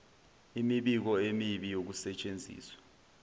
imibiko emibi yokusetshenziswa